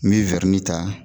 N be ta